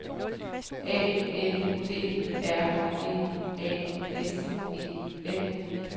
A N D R E A S E N